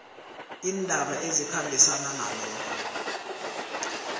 iindaba ezikhambisana nalokho